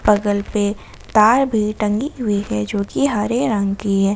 बगल पे तार भी टंगी हुई है जो कि हरे रंग की है ।